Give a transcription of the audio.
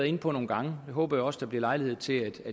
inde på nogle gange og det håber jeg også at der bliver lejlighed til at